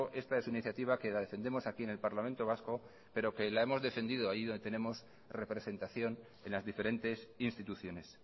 esta es una iniciativa que la defendemos aquí en el parlamento vasco pero que la hemos defendido allí donde tenemos representación en las diferentes instituciones